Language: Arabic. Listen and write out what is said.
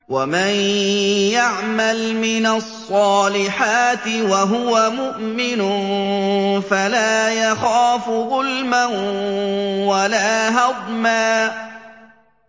وَمَن يَعْمَلْ مِنَ الصَّالِحَاتِ وَهُوَ مُؤْمِنٌ فَلَا يَخَافُ ظُلْمًا وَلَا هَضْمًا